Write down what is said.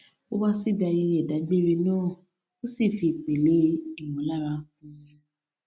ó wá síbi ayẹyẹ idagbere náà ó sì fi ipele ìmòlára kún un